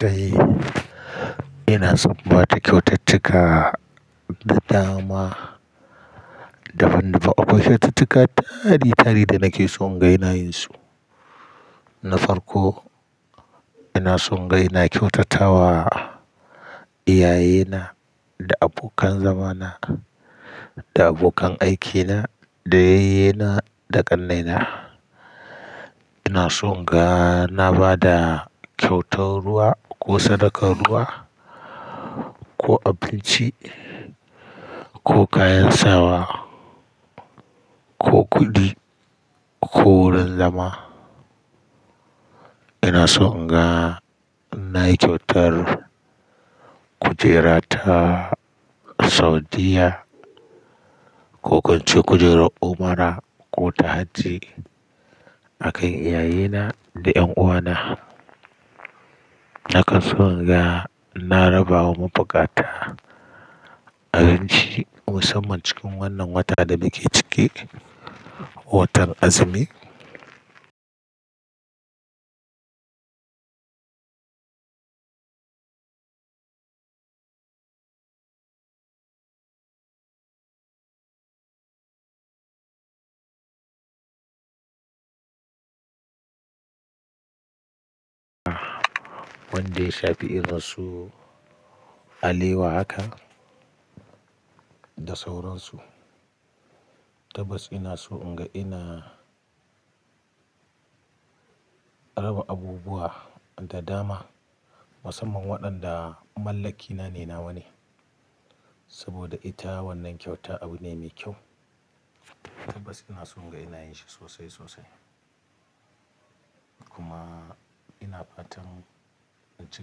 Dai ina son ba ta kyaututtuka da dama dabam dabam. Akwai kyaututtuka tare tare da nake son ga ina yin su. Na farko ina son ga inga kyautata wa iyayena da abokan zamana da abokan aikina da yayyena da ƙannaina. Ina son inga na ba da kyautar ruwa ko sadakar ruwa ko abinci ko kayan sawa ko kuɗi ko wurin zama. Ina son inga nayi kyautar kujera ta Saudiyya ko ko inche kujerar Umara ko ta Hajj. A kan iyayena da ƴan uwana. Naka son inga ina rabawa mabuƙata abinci musamman cikin wannan wata da muke cike, watan azumi. Wanda ya shafi irin su alewa haka da sauransu. Tabbas ina so in ga ina raba abubuwa da dama musamman waɗanda mallakina ne nawa ne. Saboda ita wannan kyauta abu ne mai kyau. Tabbas ina son inga ina yin shi sosai sosai. Kuma ina fatan in ci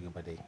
gaba da yi.